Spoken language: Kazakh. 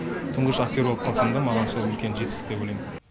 тұңғыш актер болып қалсам да маған сол үлкен жетістік деп ойлайм